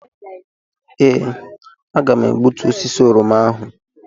Ee, aga m egbutu osisi oroma ahụ.